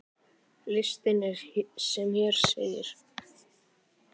Listinn er sem hér segir